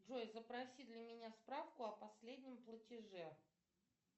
джой запроси для меня справку о последнем платеже